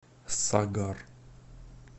сагар